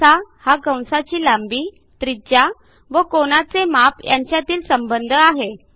असा हा कंसाची लांबी त्रिज्या व कोनाचे माप यांच्यातील संबंध आहे